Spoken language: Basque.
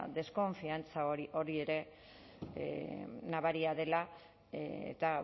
deskonfiantza hori ere nabaria dela eta